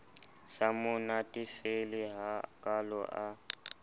sa mo natefele hakalo a